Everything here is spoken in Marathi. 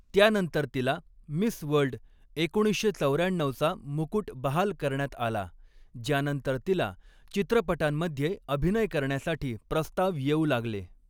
त्यानंतर तिला मिस वर्ल्ड एकोणीसशे चौऱ्याण्णऊचा मुकुट बहाल करण्यात आला, ज्यानंतर तिला चित्रपटांमध्ये अभिनय करण्यासाठी प्रस्ताव येऊ लागले.